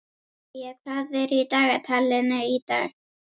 Nadía, hvað er í dagatalinu í dag?